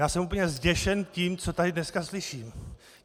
Já jsem úplně zděšen tím, co tady dneska slyším.